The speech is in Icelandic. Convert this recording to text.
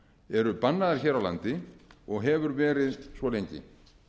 eru bannaðar hér á landi og hefur verið svo lengi